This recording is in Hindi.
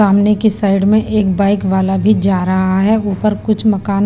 सामने की साइड में एक बाइक वाला भी जा रहा है ऊपर कुछ मकान--